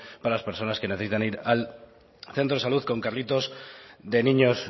para las personas que necesitan ir al centro salud con carritos de niños